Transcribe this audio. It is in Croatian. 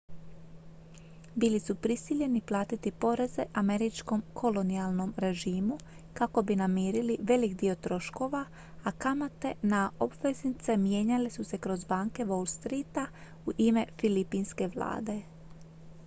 bili su prisiljeni platiti poreze američkom kolonijalnom režimu kako bi namirili velik dio troškova a kamate na obveznice mijenjale su se kroz banke wall streeta u ime filipinske vlade